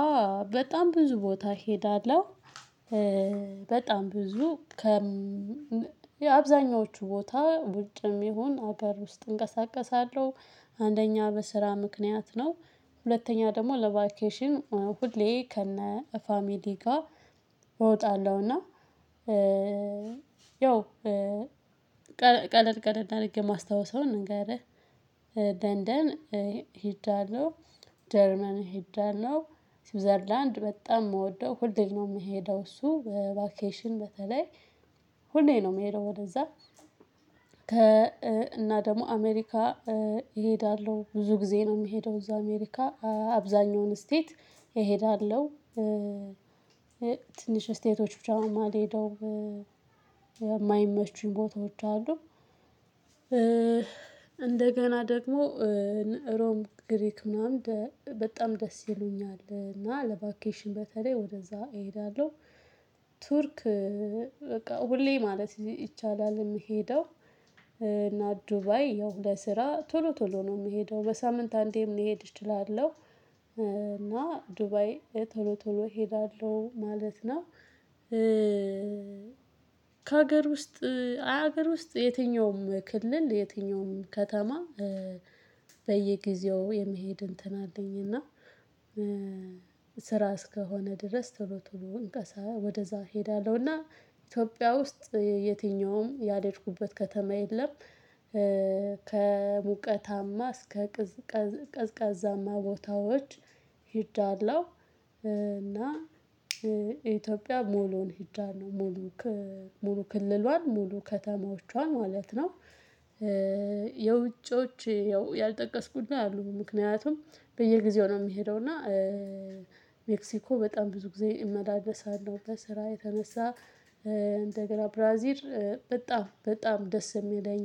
አ በጣም ብዙ ቦታ እሄዳለሁ በጣም ብዙ ከ የአብዛኞቹ ቦታ ውጭም ይሁን አገር ውስጥ እንቀሳቀሳለሁ። አንደኛ በስራ ምክንያት ነው ሁለተኛ ደግሞ ለቫኬሽን ሁሌ ከነ ፋሚሊ ጋ እወጣለሁ። እና ያው ቀለል ቀለል አርጌ ማስታውሰውን ንገረህ። ለንደን ሄጃለሁ። ጀርመን ሄጃለሁ ስዊዘርላንድ በጣም ምወደው ሁሌ ነው ምሄደው እሱ በቫኬሽን በተለይ ሁሌ ነው ምሄደው ወደዛ። ከ እና ደግሞ አሜሪካ እሄዳለሁ ብዙ ጊዜ ነው ሚሄደው እዛ አሜሪካ አብዛኛውን ስቴት እሄዳለሁ። ትንሽ ስቴቶች ብቻ ማልሄደው ማይመቹኝ ቦታዎች አሉ። እ እንደገና ደግሞ ሮም ግሪክ ምናምን በጣም ደስ ይሉኛል እና ለቫኬሽን በተለይ ወደዛ እሄዳለሁ። ቱርክ በቃ ሁሌ ማለት ይቻላል ምሄደው። እና ዱባይ ያው ለስራ ቶሎ ቶሎ ነው ምሄደው በሳምንት አንዴም ልሄድ እችላለሁ እና ዱባይ ቶሎ ቶሎ እሄዳለሁ ማለት ነው። ከሀገር ውስጥ ሀገር ውስጥ የትኛውም ክልል የትኛውም ከተማ በየጊዜው የመሄድ እንትን አለኝ እና። ስራ እስከሆነ ድረስ ቶሎ ቶሎ እንቀሳ ወደዛ እሄዳለሁ እና ኢትዮጵያ ውስጥ የትኛውም ያልሄድኩበት ከተማ የለም። ከሙቀታማ እስከ ቀዝቃዛማ ቦታዎች ሂጃለው እና ኢትዮጵያ ሙሉን ሂጃለው ሙሉ ሙሉ ክልሏን ሙሉ ከተማዎቿን ማለት ነው። የውጪዎች ያልጠቀስኩ አሉኝ ምክንያቱም በየጊዜው ነው ሚሄደው እና ሜክሲኮ በጣም ብዙ ጊዜ እመላለሳለሁ በስራ የተነሳ። እንደገና ብራዚል በጣም በጣም ደስ ሚለኝ